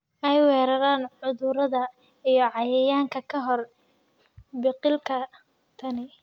ay weeraraan cudurrada iyo cayayaanka ka hor biqilka. Tani